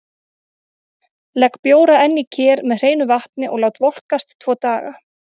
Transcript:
Legg bjóra enn í ker með hreinu vatni og lát volkast tvo daga.